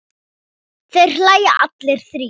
Þeir hlæja allir þrír.